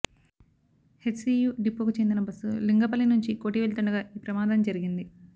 HCU డిపోకు చెందిన bus Lingampalli నుంచి కోఠి వెళ్తుండగా ఈ ప్రమాదం జరిగింది